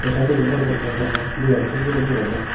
saadoidi bor bor gash aagon debabo dub guri degajai.